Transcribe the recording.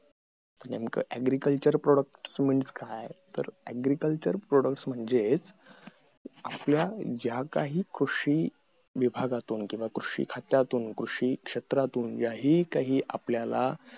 नेमका agriculture product means काय तर agriculture product means म्हणजे आपल्या ज्या काही कृषी विभागातून किंवा कृषी खात्यातून कृषी क्षेत्रातून ज्याही काही आपल्याला